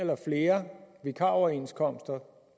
eller flere vikaroverenskomster